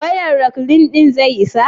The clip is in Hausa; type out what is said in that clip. wayan reklin din zai isa?